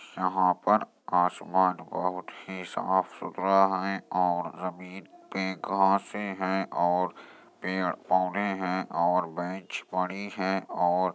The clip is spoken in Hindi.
यहां पर आसमान बहुत ही साफ सुथरा है और ज़मीन पे घासें हैं और पेड़ पौधे हैं और बेंच पड़ी है और --